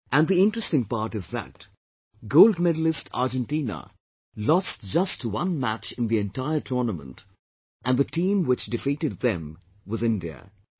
And the interesting part is that Gold Medalist Argentina lost just one match in the entire tournament and the team which defeated them was INDIA